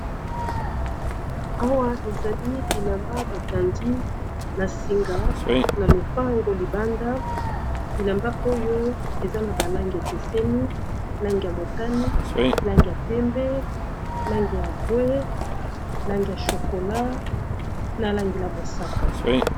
Awa ezali bilamba bakandi na singa na lopango libanda bilamba oyo eza na balangi ekeseni lange ya motani, lange ya pembe, lange ya mbwe, lange ya chokola na langi ya mosaka.